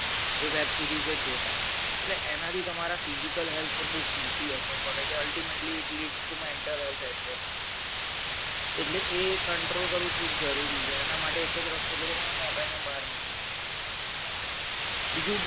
એટલે એનાથી તમારા physical health પર બૌ મોટી અસર પડે છે ultimately it leads to mental health as well એટલે એ control કરું ખૂબ જરૂરી છે એના માટે એક જ રસ્તો છે કે તમે mobile ને બહાર મૂકીને આવો